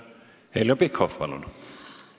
Heljo Pikhof, palun!